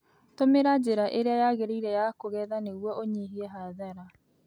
Tũmĩra njĩra ĩrĩa yagĩrĩire ya kũgetha nĩguo ũnyihie hathara